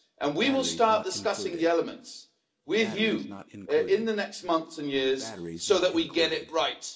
We will start discussing the elements with you in the next months and years so that we get it right.